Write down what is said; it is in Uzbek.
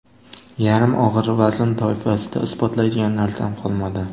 Yarim og‘ir vazn toifasida isbotlaydigan narsam qolmadi.